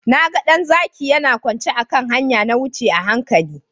Na ga ɗan zaki yana kwance a kan hanya. Na wuce a hankali.